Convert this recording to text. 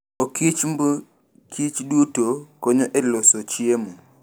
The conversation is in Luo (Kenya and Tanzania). Okichmb kichduto konyo e loso chiemo.